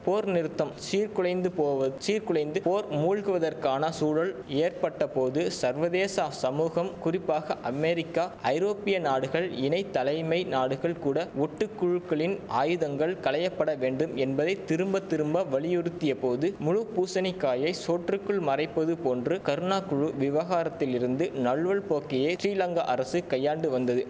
போர் நிறுத்தம் சீர்குலைந்து போவது சீர்குலைந்து போர் மூழ்வதற்கான சூழல் ஏற்பட்ட போது சர்வதேச சமூகம் குறிப்பாக அமெரிக்கா ஐரோப்பிய நாடுகள் இணைத்தலைமை நாடுகள் கூட ஒட்டு குழுக்களின் ஆயுதங்கள் களையப்பட வேண்டும் என்பதை திரும்ப திரும்ப வலியுறுத்திய போது முழு பூசணிக்காயை சோற்றுக்குள் மறைப்பது போன்று கருணாகுழு விவகாரத்திலிருந்து நழுவல் போக்கையே ஸ்டிலங்கா அரசு கையாண்டு வந்தது